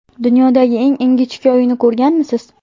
Dunyodagi eng ingichka uyni ko‘rganmisiz?